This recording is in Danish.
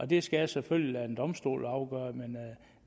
det skal jeg selvfølgelig lade en domstol afgøre men